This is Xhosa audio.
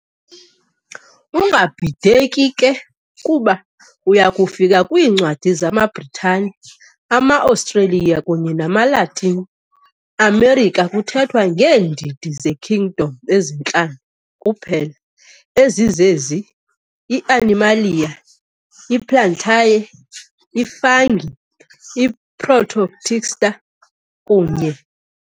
ungabhideki ke, kuba uyakufika kwiincwadi zamaBritane, amaAustralia kunye namaLatin Amerika kuthethwa ngeendidi ze"kingdom" ezintlanu kuphela ezizezi- i-Animalia, i-Plantae, i-Fungi, i-Protoctista, kunye ].